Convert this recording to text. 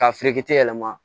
K'a yɛlɛma